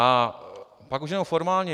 A pak už jenom formálně.